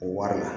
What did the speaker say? Waranda